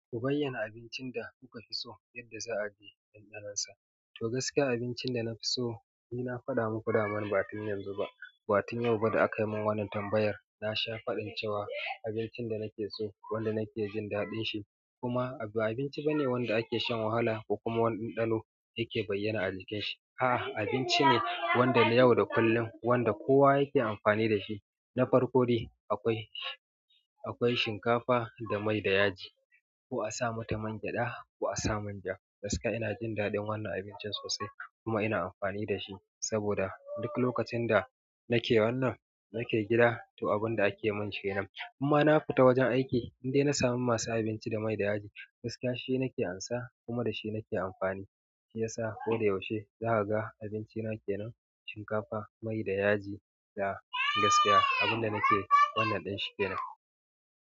Ku bayyana abincin da kuka fi so yadda za a ji ɗanɗanon sa. To gaskiya abincin da na fi so, ni na faɗa muku dama ba tun yanzu ba, ba tun yau ba da aka mun wannan tambayar. Na sha faɗin cewa abincin da nake so, wanda nake jin daɗin shi, kuma ba abinci ba ne wanda ake shan wahala ko kuma wani ɗanɗano yake bayyana a jikin shi. A'a, abinci ne wanda na yau da kullum wanda kowa yake amfani da shi. Na farko dai akwai, akwai shinkafa da mai da yaji. Ko a sa mata man gyaɗa ko a sa manja. Gaskiya ina jin daɗin wannan abincin sosai kuma ina amfani da shi. Saboda duk lokacin da nake wannan, nake gida to abun da ake mun kenan. In ma na fita wajen aiki in dai na samu masu abinci da mai da yaji, gaskiya shi nake amsa kuma da shi nake amfani. Shiyasa ko da yaushe zaka ga abinci na kenan, shinkafa mai da yaji gaskiya abinda nake wannan ɗinshi kenan.